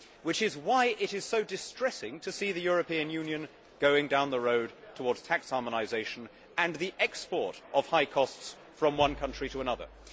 This is why it is so distressing to see the European Union going down the road towards tax harmonisation and the export of high costs from one country to another.